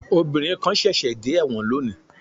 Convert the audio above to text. Obìnrin kan ṣẹ̀ṣẹ̀ dé ẹ̀wọ̀n lónìí